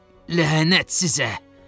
Ləhənət sizə!